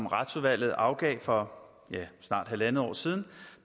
retsudvalget afgav for snart halvandet år siden